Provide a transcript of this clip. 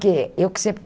que eu que sempre